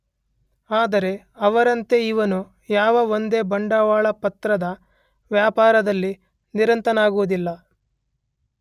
ಆದರೆ ಅವರಂತೆ ಇವನು ಯಾವ ಒಂದೇ ಬಂಡವಾಳಪತ್ರದ ವ್ಯಾಪಾರದಲ್ಲಿ ನಿರತನಾಗುವುದಿಲ್ಲ.